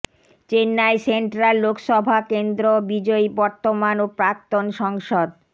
Chennai central Lok Sabha কেন্দ্র বিজয়ী বর্তমান ও প্রাক্তন সংসদ